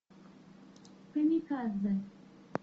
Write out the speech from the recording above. камикадзе